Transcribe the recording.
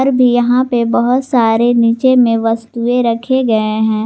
भी यहां पे बहोत सारे नीचे में वस्तुएं रखे गए हैं।